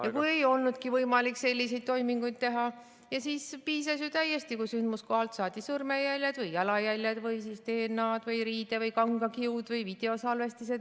... ja kui ei olnudki võimalik selliseid toiminguid teha ning siis piisas täiesti, kui sündmuskohalt saadi sõrmejäljed või jalajäljed või DNA-d või riide- või kangakiud või videosalvestised.